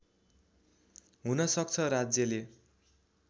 हुन सक्छ राज्यले